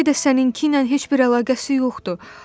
Bəlkə də səninki ilə heç bir əlaqəsi yoxdur.